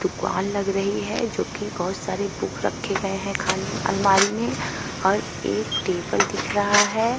दुकान लग रही है जो कि बहौत सारे बुक रखे गए हैं खाने अलमारी में और एक टेबल दिख रहा है।